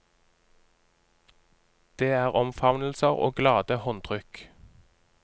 Det er omfavnelser og glade håndtrykk.